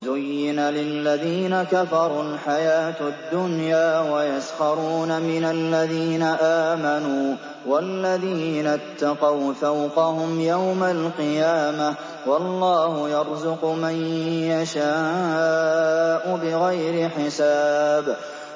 زُيِّنَ لِلَّذِينَ كَفَرُوا الْحَيَاةُ الدُّنْيَا وَيَسْخَرُونَ مِنَ الَّذِينَ آمَنُوا ۘ وَالَّذِينَ اتَّقَوْا فَوْقَهُمْ يَوْمَ الْقِيَامَةِ ۗ وَاللَّهُ يَرْزُقُ مَن يَشَاءُ بِغَيْرِ حِسَابٍ